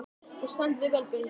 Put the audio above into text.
Þú stendur þig vel, Benedikt!